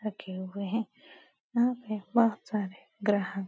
रखे हुए हैं। यहाँ पे बहुत सारे ग्राहक --